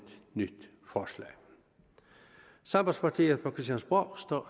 nyt forslag sambandspartiet på christiansborg